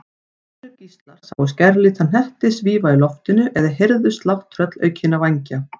Aðrir gíslar sáu skærlita hnetti svífa í loftinu eða heyrðu slátt tröllaukinna vængja.